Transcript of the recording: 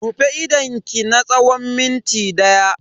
Rufe idonki na tsawon minti daya.